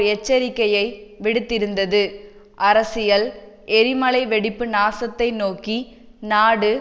எச்சரிக்கையை விடுத்திருந்தது அரசியல் எரிமலை வெடிப்பு நாசத்தை நோக்கி நாடு